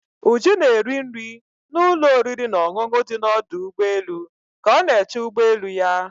Ụjụ na-eri nri na ụlọ oriri na ọṅụṅụ dị na ọdụ ụgbọelu ka ọ na-eche ụgbọ elu ya.